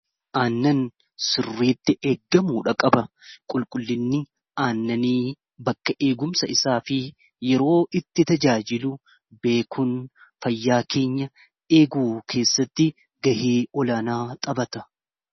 aannan sirriitti eeggamudha qaba qulqullinni aannanii bakka eegumsa isaa fi yeroo itti tajaajilu beekuun fayyaa keenya eeguu keessatti gahee olaanaa xaphata